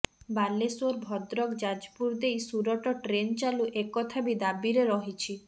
ବାଲେଶ୍ୱର ଭଦ୍ରକ ଯାଜପୁର ଦେଇ ସୁରଟ ଟ୍ରେନ୍ ଚାଲୁ ଏକଥା ବି ଦାବିରେ ରହିଛି